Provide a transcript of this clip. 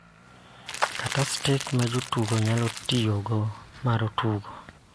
Kata stick ma jotugo nyalo tiyogo mar tugo.